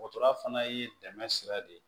Dɔgɔtɔrɔya fana ye dɛmɛ sira de ye